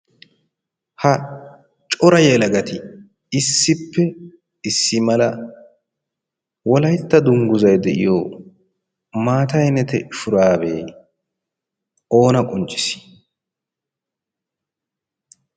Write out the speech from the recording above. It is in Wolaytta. Ha cora yelagati issippe issi mala wolayitta dunguzzay de'iyoo maata ayinete shuraabee oona qonccissii?